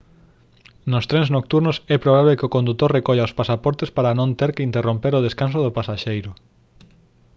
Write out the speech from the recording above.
nos trens nocturnos é probable que o condutor recolla os pasaportes para non ter que interromper o descanso do pasaxeiro